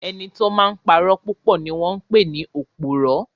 Ẹni tó máa n purọ́ ni wọ́n pè ní òpùrọ́